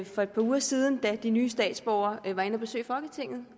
for et par uger siden da de nye statsborgere var inde at besøge folketinget